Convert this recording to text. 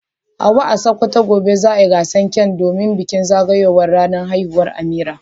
Hawwa a Sokoto, gobe za a gasa kek domin bikin zagayowar ranar haihuwar Amira.